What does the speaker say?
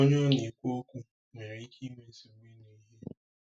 Onye ọ na-ekwu okwu nwere ike inwe nsogbu ịnụ ihe.